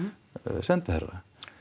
sendiherra